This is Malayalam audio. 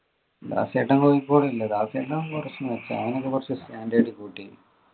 ദാസേട്ടൻ കോഴിക്കോട് ഇല്ല ദാസേട്ടൻ കുറച്ചു നിർത്തി അവനൊക്കെ കുറച്ചു standard കൂട്ടി